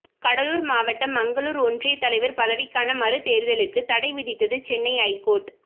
கடலூர் மாவட்டம் மங்களூர் ஒன்றிய தலைவர் பதவிக்கான மறு தேர்தலுக்கு தடை விதித்தது சென்னை ஐகோர்ட்